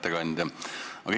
Hea ettekandja!